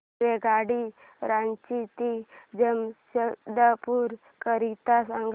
रेल्वेगाडी रांची ते जमशेदपूर करीता सांगा